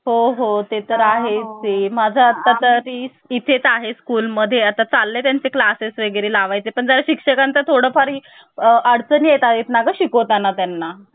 पहिली उपसमिती होती मूलभूत हक्क उपसमिती तर या समितीचे अध्यक्ष होते जे. बी. कृपलाल. त्यानंतर अल्पसंख्यांक उपसमितीचे अध्यक्ष होते. एस. सी. मुखर्जी आणि आदिवासी क्षेत्र समितीचे अध्यक्ष होते